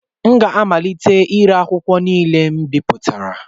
M ga-amalite ire akwụkwọ niile m bipụtara